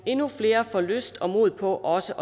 endnu flere får lyst til og mod på også